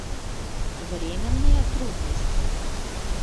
временные трудности